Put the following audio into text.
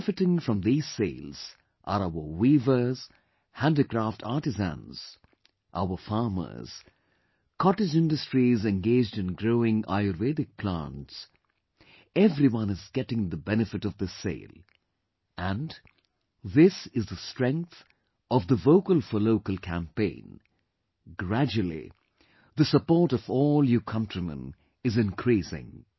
Benefiting from these sales are our weavers, handicraft artisans, our farmers, cottage industries engaged in growing Ayurvedic plants, everyone is getting the benefit of this sale... and, this is the strength of the 'Vocal for Local' campaign... gradually the support of all you countrymen is increasing